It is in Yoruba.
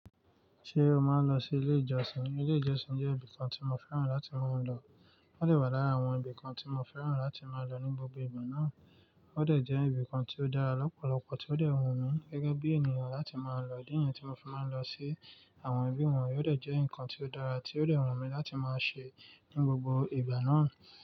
Ṣé o máa ń lọ sí ilé ìjọsìn? Ilé ìjọsìn jẹ́ ibìkan tí mo fẹ́ràn láti máa lọ. Ó dẹ̀ wà lára àwọn ibìkan tí mo fẹ́ràn láti máa lọ ní gbogbo ìgbà náà. Ó dẹ̀ jẹ́ ibìkan tí ó dára lọ́pọ̀lọpọ̀ tí ó dẹ̀ wù mí gẹ́gẹ́ bí ènìyàn láti máa lọ. Ídí niyẹn tí mo fi máa ń lọ sí àwọn ibi wọ̀nyí ó dẹ̀ jẹ́ nǹkan tí ó dára tí ó dẹ̀ wù mí láti máa ṣe ní gbogbo ìgbà náà.